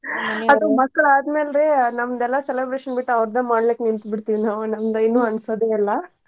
ಅದು ಮಕ್ಳ ಅದ್ಮ್ಯಾಲ್ ರೀ ನಮ್ದ ಎಲ್ಲಾ celebration ಬಿಟ್ಟ ಅವ್ರದ ಮಾಡ್ಲಿಕ್ ನಿಂತ್ ಬಿಡ್ತೀವ್ ನಾವ್ ನಮ್ದ ಏನೂ ಅನ್ಸದೇ ಇಲ್ಲಾ.